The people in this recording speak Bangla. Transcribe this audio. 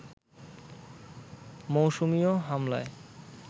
মৌসুমীও হামলায়